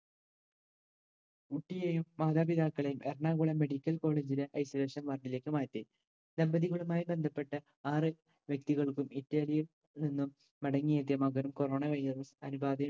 കുട്ടിയേയും മാതാപിതാക്കളെയും Ernakulam medical college ലെ isolution ward ലേക്ക് മാറ്റി. ദമ്പതികളുമായി ബന്ധപ്പെട്ട ആറു വ്യക്തികൾക്കും ഇറ്റലിയിൽ നിന്നും മടങ്ങിയെത്തിയ മകനും corona കഴിഞ്ഞതും അണുബാധയിൽ